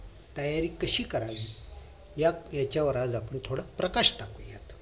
तयारी कशी करावी या हेच्यावर आज आपण थोडं प्रकाश टाकूया